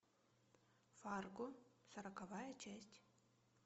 фарго сороковая часть